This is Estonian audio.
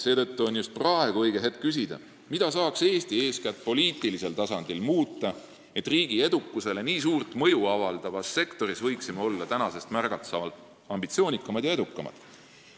Seetõttu on just praegu õige aeg küsida, mida saaks Eesti eeskätt poliitilisel tasandil muuta, et võiksime riigi edukusele nii suurt mõju avaldavas sektoris olla märgatavalt ambitsioonikamad ja edukamad.